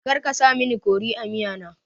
Karka sa mini kori a miya na